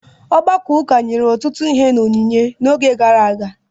Ọgbakọ ụka nyere ọtụtụ ihe n’onyinye n’oge gara aga.